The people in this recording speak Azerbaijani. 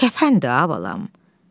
Kəfəndi a balam.